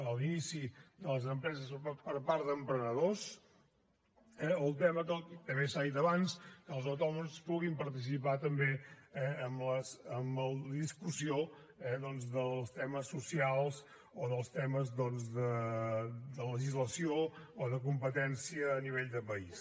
a l’inici de les empreses per part d’emprenedors eh o el tema també s’ha dit abans que els autònoms puguin participar també eh en la discussió doncs dels temes socials o dels temes de legislació o de competència a nivell de país